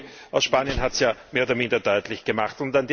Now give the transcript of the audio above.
Der Kollege aus Spanien hat es ja mehr oder minder deutlich gemacht.